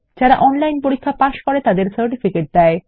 যারা অনলাইন পরীক্ষা পাস করে তাদের সার্টিফিকেট দেয়